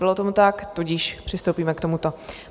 Nebylo tomu tak, tudíž přistoupíme k tomuto.